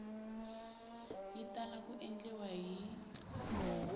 yi tala ku endliwa hi